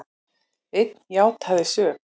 Einn játaði sök